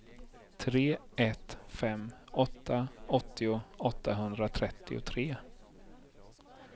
tre ett fem åtta åttio åttahundratrettiotre